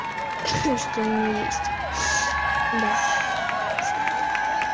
что у меня есть до частота